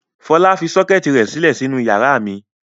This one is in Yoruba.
Fọlá fi sọ́kẹ́tì rẹ̀ sílẹ̀ sínú ìyàrá mi.